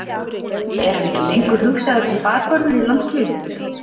Er hann ekki lengur hugsaður sem bakvörður í landsliðinu?